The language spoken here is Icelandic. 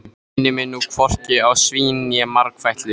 Hann minnir nú hvorki á svín né margfætlu.